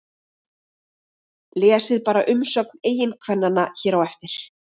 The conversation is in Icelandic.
Lesið bara umsögn eiginkvennanna hér á eftir